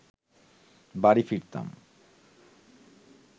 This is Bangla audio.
বাড়ি ফিরতাম